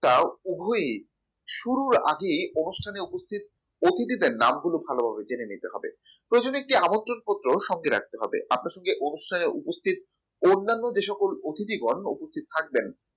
তাও উভয় ই শুরুর আগে অনুষ্ঠান উপস্থিত অতিথিদের নাম গুলো ভালোভাবে জেনে নিতে হবে প্রয়োজন হলে একটি আমন্ত্রণপত্র সঙ্গে রাখতে হবে আপনার সঙ্গে অনুষ্ঠানে উপস্থিত অন্যান্য যে সকল অতিথিগণ উপস্থিত থাকবেন